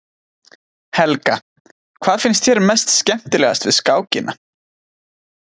Helga: Hvað finnst þér mest skemmtilegast við skákina?